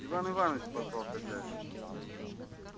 иван иваныч позвал хозяин